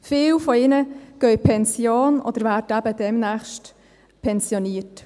Viele gehen in Pension oder werden demnächst pensioniert.